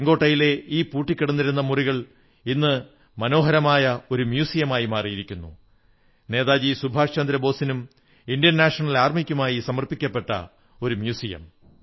ചുവപ്പ് കോട്ടയിലെ ഈ പൂട്ടിക്കിടന്നിരുന്ന മുറികൾ ഇന്നൊരു മനോഹരമായ മ്യൂസിയമായി മാറിയിരിക്കുന്നു നേതാജി സുഭാഷ് ചന്ദ്രബോസിനും ഇന്ത്യൻ നാഷണൽ ആർമിക്കുമായി സമർപ്പിക്കപ്പെട്ട മ്യൂസിയം